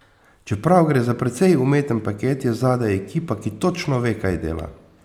Čeprav gre za precej umeten paket, je zadaj ekipa, ki točno ve, kaj dela.